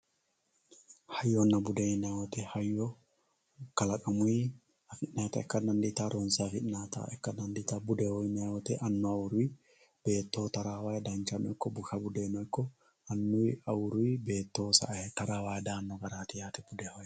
hayyonna bude yinayii woyiite hayyo kalaqamuyii afi'nayiitta ikka dandiitawoo ronse afi'nayiitta ikka dandiitawoo budeho yinayii woyiiite annuwuwayiiwi beettoho taraawayii danchano ikko busha bude ikko awuruyiiwii annuyiiwi beettoho sa"ayii taraawayii daanno garaati yaate budeho yaa.